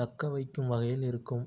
தக்கவைக்கும் வகையில் இருக்கும்